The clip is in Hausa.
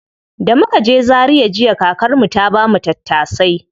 Da muka je zaria jiya, kakar mu ta bamu tattasai.